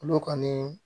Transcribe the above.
Olu kɔni